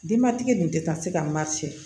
Denbatigi dun tɛ ka se ka ma cɛ